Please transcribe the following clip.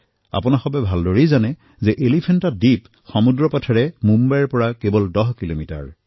আপোনালোকে ভালদৰে জানে যে এলিফেণ্টা দ্বীপ মুম্বাইৰ সমুদ্ৰৰ পৰা ১০ কিলোমিটাৰ দূৰৈত অৱস্থিত